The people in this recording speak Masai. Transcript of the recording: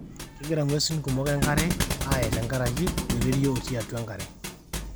kegira ng'uesin kumok enkare ae tenkareki oloirerio otii atua enkare